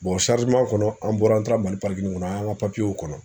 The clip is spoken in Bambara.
kɔnɔ an bɔra an taara MALI kɔnɔ an ka kɔnɔ